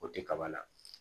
O tɛ kaba la